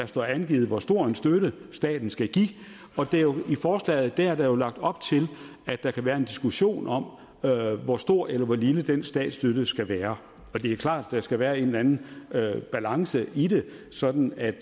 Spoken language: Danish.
står angivet hvor stor en støtte staten skal give i forslaget er der jo lagt op til at der kan være en diskussion om hvor stor eller hvor lille den statsstøtte skal være det er klart at der skal være en eller anden balance i det sådan at